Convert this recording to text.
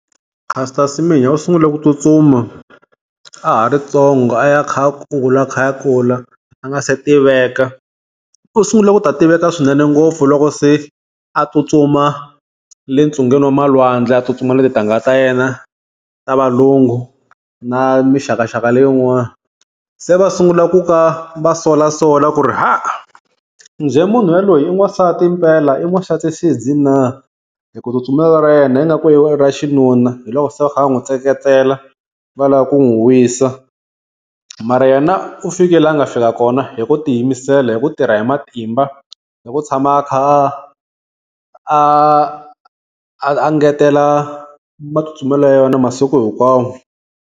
Caster Semenya u sungule ku tsutsuma a ha ri ntsongo a ya a kha a kula, a kha a kula a nga se tiveka. U sungule ku ta tiveka swinene ngopfu loko se a tsutsuma le ntsungeni wa malwandle a tsutsuma na tintangha ta yena ta valungu na mixakaxaka leyin'wana. Se va sungula ku ka va solasola ku ri haa njhe, munhu yaloyi i n'wansati mpela i n'wansati xidzi na, hi ku tsutsumela ra yena ingaku i ra xinuna hi loko se va kha va n'wi tseketsela va lava ku n'wi wisa. Mara yena u fikile la a nga fika kona hi ku tiyimisela hi ku tirha hi matimba, hi ku tshama a kha a a a ngetela matsutsumelo ya yena masiku hinkwawo.